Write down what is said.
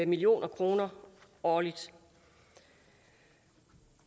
million kroner årligt det